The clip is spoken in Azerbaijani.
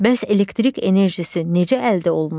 Bəs elektrik enerjisi necə əldə olunur?